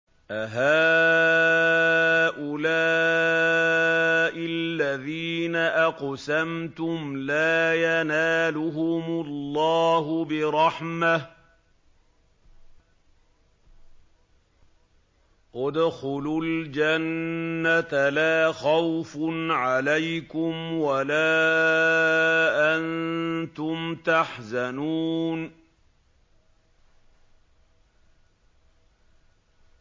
أَهَٰؤُلَاءِ الَّذِينَ أَقْسَمْتُمْ لَا يَنَالُهُمُ اللَّهُ بِرَحْمَةٍ ۚ ادْخُلُوا الْجَنَّةَ لَا خَوْفٌ عَلَيْكُمْ وَلَا أَنتُمْ تَحْزَنُونَ